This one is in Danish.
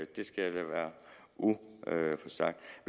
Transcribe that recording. det skal jeg lade være usagt